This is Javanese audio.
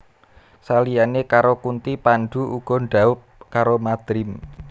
Saliyane karo Kunthi Pandhu uga dhaup karo Madrim